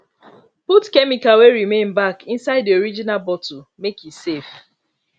put chemical wey remain back inside the original bottle make e safe